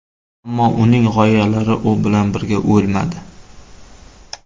Ammo uning g‘oyalari u bilan birga o‘lmadi.